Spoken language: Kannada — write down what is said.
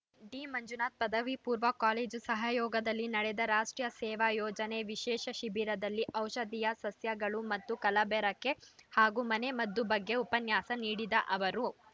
ಡಿಮಂಜುನಾಥ ಪದವಿ ಪೂರ್ವ ಕಾಲೇಜು ಸಹಯೋಗದಲ್ಲಿ ನಡೆದ ರಾಷ್ಟ್ರೀಯ ಸೇವಾ ಯೋಜನೆಯ ವಿಶೇಷ ಶಿಬಿರದಲ್ಲಿ ಔಷಧಿಯ ಸಸ್ಯಗಳು ಮತ್ತು ಕಲಬೆರಕೆ ಹಾಗೂ ಮನೆ ಮದ್ದು ಬಗ್ಗೆ ಉಪನ್ಯಾಸ ನೀಡಿದ ಅವರು